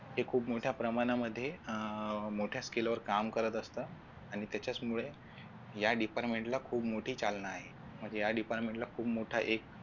हे खूप मोठ्या प्रमाणामध्ये अह मोठ्या skill वर काम करत असतं आणि त्याच्यामुळे या department ला खूप मोठी चालना आहे म्हणजे या department ला खूप मोठा एक